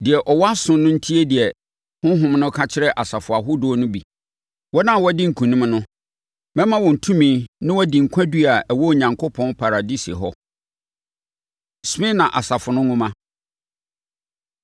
Deɛ ɔwɔ aso no ntie deɛ Honhom no ka kyerɛ asafo ahodoɔ no bi. Wɔn a wɔadi nkonim no, mɛma wɔn tumi na wɔadi nkwadua a ɛwɔ Onyankopɔn paradise hɔ. Smirna Asafo No Nwoma